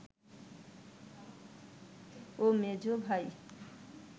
ও মেঝ ভাই